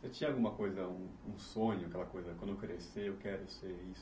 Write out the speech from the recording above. você tinha alguma coisa, um sonho aquela coisa quando eu crescer quero ser isso.